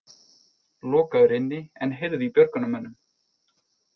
Lokaður inni en heyrði í björgunarmönnum